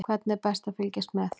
Hvernig er best að fylgjast með?